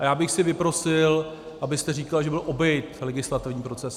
A já bych si vyprosil, abyste říkal, že byl obejit legislativní proces.